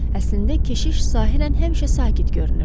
Əslində, keşiş sahirən həmişə sakit görünürdü.